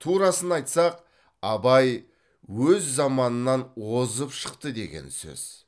турасын айтсақ абай өз заманынан озып шықты деген сөз